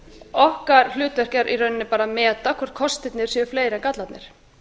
okkar hlutverk er í rauninni bara að meta hvort kostirnir séu fleiri en gallarnir